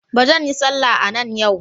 Ba zan yi sallah a nan yau.